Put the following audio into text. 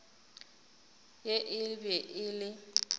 ye e be e le